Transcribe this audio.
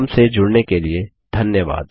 हमसे जुड़ने के लिए धन्यवाद